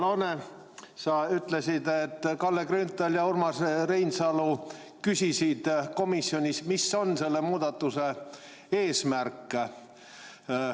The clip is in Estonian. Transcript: Hea Loone, sa ütlesid, et Kalle Grünthal ja Urmas Reinsalu küsisid komisjonis, mis on selle muudatuse eesmärk.